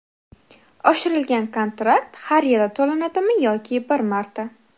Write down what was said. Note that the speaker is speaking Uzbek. Oshirilgan kontrakt har yili to‘lanadimi yoki bir marta?